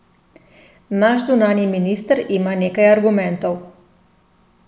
Naš zunanji minister ima nekaj argumentov.